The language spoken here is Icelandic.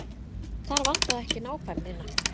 Þar vantaði ekki nákvæmnina.